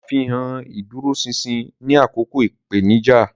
Ṣàfihàn ìdúróṣinṣin ní àkókò ìpèníjà.